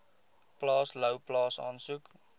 plaas louwplaas asook